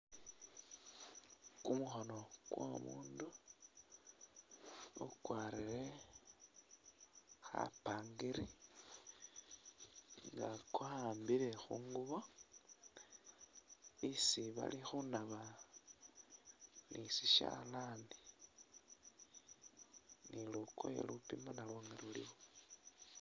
Kumukhono kwo mundu ukwarire kha pangiri nga kwawambile khungubo isi bali khunaba ni shishalani ni lukoye lupima nalwo lulikho.